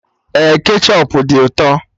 Ee, kechọp dị ụtọ